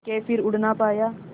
के फिर उड़ ना पाया